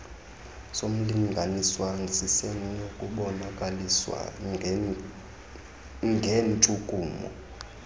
somlinganiswa sisenokubonakaliswa nangentshukumo